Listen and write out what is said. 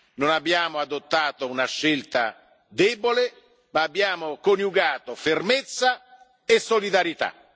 noi non abbiamo adottato una scelta debole, ma abbiamo coniugato fermezza e solidarietà.